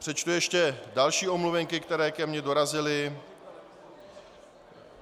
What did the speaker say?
Přečtu ještě další omluvenky, které ke mně dorazily.